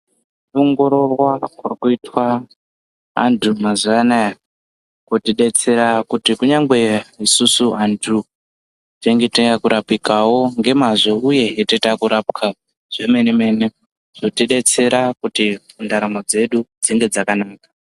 Kuongororwa kwava kuitwa vantu mazuvano aya kunotidetsera kuti kunyangwe isusu vantu tinenge tava kurapikawo ngemazvo uye tinenge tava kurapwa zvomene mene zvotidetsera kuti ntaramo dzedu dzinge dzakanaka.